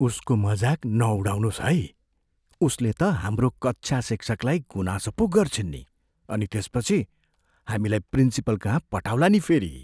उसको मजाक नउडाउनुहोस् है । उसले त हाम्रो कक्षा शिक्षकलाई गुनासो पो गर्छिन् नि अनि त्यसपछि हामीलाई प्रिन्सिपलकहाँ पठाउला नि फेरि।